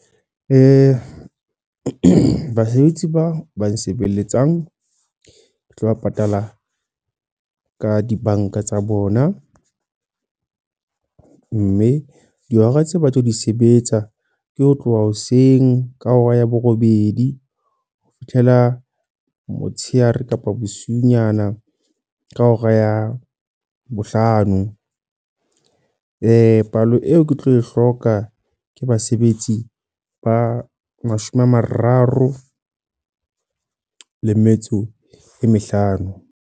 Basebetsi ba ba nsebeletsang. Ke tlo ba patala, ka dibanka tsa bona. Mme dihora tse ba tlo di sebetsa, ke ho tloha hoseng ka hora ya borobedi ho fihlela motsheare kapa bosiunyana ka hora ya bohlano. Palo eo ke tlo e hloka, ke basebetsi ba mashome a mararo le metso e mehlano.